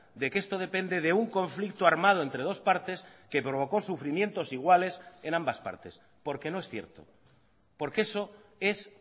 de que esto depende de un conflicto armado entre dos partes que provocó sufrimientos iguales en ambas partes porque no es cierto porque eso es